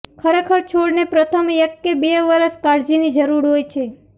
ખરેખર છોડને પ્રથમ એક કે બે વર્ષ કાળજીની જરૂર હોય છે